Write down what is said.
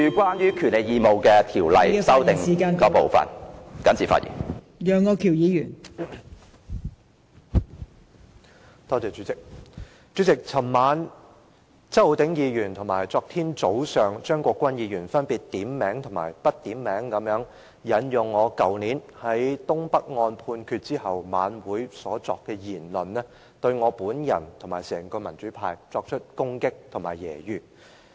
代理主席，周浩鼎議員和張國鈞議員分別於昨晚和昨天早上，點名和不點名地引用我去年於東北案判決後在晚會上所作的言論，對我和整個民主派作出攻擊和揶揄。